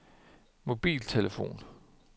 mobiltelefon